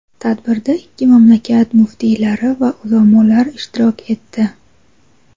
Tadbirda ikki mamlakat muftiylari va ulamolar ishtirok etdi.